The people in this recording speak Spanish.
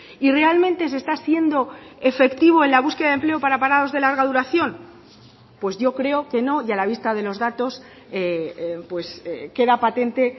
y realmente se está siendo efectivo en la búsqueda de empleo para parados de larga duración pues yo creo que no y a la vista de los datos queda patente